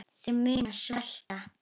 Þeir munu svelta.